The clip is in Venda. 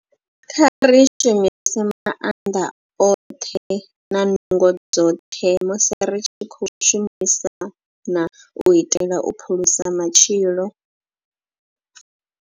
Kha ri shumise maanḓa oṱhe na nungo dzoṱhe musi ri tshi khou shumisana u itela u phulusa matshilo.